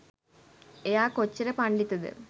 එයා කොච්චර පණ්ඩිතද